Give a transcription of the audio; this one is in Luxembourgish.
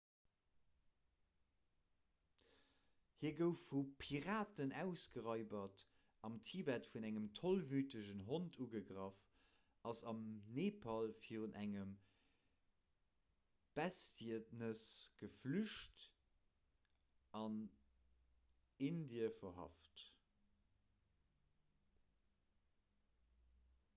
hie gouf vu piraten ausgeraibert am tibet vun engem tollwütegen hond ugegraff ass am nepal virun engem bestietnes geflücht a gouf an indie verhaft